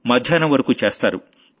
మధ్యాహ్నం వరకూ చేస్తారు